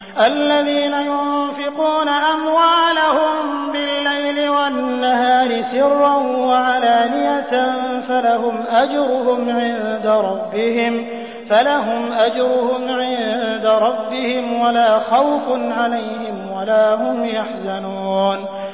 الَّذِينَ يُنفِقُونَ أَمْوَالَهُم بِاللَّيْلِ وَالنَّهَارِ سِرًّا وَعَلَانِيَةً فَلَهُمْ أَجْرُهُمْ عِندَ رَبِّهِمْ وَلَا خَوْفٌ عَلَيْهِمْ وَلَا هُمْ يَحْزَنُونَ